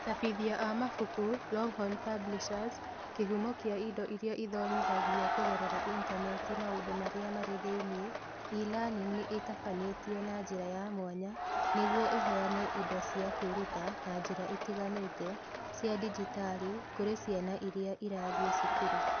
Acabithia a mabuku (Longhorn Publishers) kĩhumo kĩa indo iria ithomithagio kũgerera Intaneti Maũndũ Marĩa Marĩ Thĩinĩ: E-Learning nĩ ĩtabanĩtio na njĩra ya mwanya nĩguo ĩheane indo cia kwĩruta na njĩra itiganĩte cia digitali kũrĩ ciana iria irathiĩ cukuru.